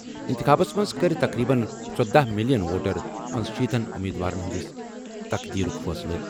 اِنتِخابس منٛز کَرِ تقریٖباً ژۄدہ مِلیَن ووٹر پنشیتن امیدوارَن ہِنٛدِس تقدیرُک فٲصلہٕ۔